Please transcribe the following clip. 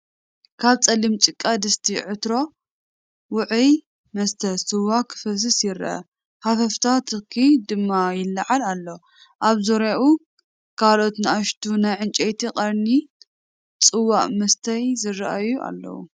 ካብ ጸሊም ጭቃ ድስቲ (ዕትሮ) ውዑይ መስተ (ስዋ) ክፈስስ ይርአ፣ ሃፈፍታ ትኪ ድማ ይለዓል ኣሎ። ኣብ ዙርያኡ ካልኦት ንኣሽቱ ናይ ዕንጨይትን ቀርኒን ጽዋእ መስተይ ዝረአዩ ኣለው።